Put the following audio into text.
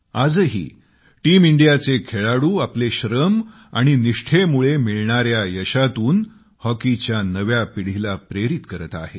आजही टीम इंडियाचे खेळाडू आपले श्रम आणि निष्ठेमुळे मिळणार्या यशातून हॉकीच्या नव्या पिढीला प्रेरित करत आहेत